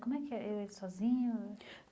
Como é que é ele é sozinho?